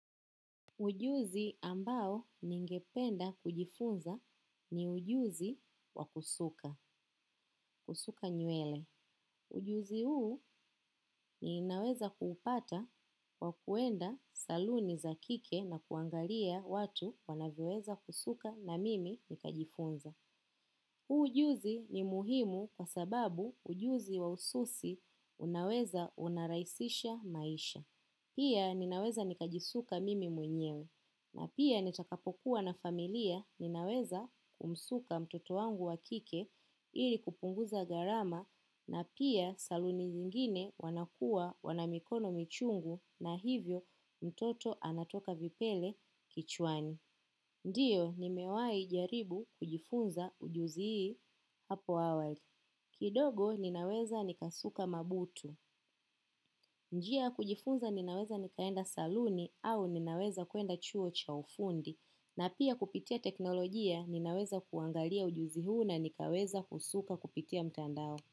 Ujuzi ambao ningependa kujifunza ni ujuzi wakusuka, kusuka nywele. Ujuzi huu ninaweza kuupata kwa kuenda saluni zakike na kuangalia watu wanavyoweza kusuka na mimi nikajifunza. Ujuzi ni muhimu kwa sababu ujuzi wa ususi unaweza unaraisisha maisha. Pia ninaweza nikajisuka mimi mwenyewe na pia nitakapokuwa na familia ninaweza kumsuka mtoto wangu wakike ili kupunguza gharama na pia saluni nyingine wanakua wanamikono michungu na hivyo mtoto anatoka vipele kichwani. Ndiyo ni mewai jaribu kujifunza ujuzi hii hapo awali. Kidogo ninaweza nikasuka mabutu. Njia ya kujifunza ninaweza nikaenda saluni au ninaweza kuenda chuo cha ufundi. Na pia kupitia teknolojia ninaweza kuangalia ujuzi huu na nikaweza kusuka kupitia mtandao.